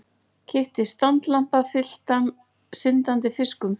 Keypti standlampa fylltan syndandi fiskum.